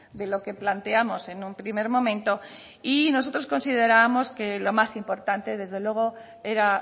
de lo que planteamos en un primer momento y nosotros considerábamos que lo más importante desde luego era